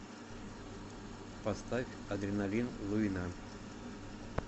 поставь адреналин луина